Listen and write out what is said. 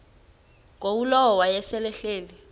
ngulowo wayesel ehleli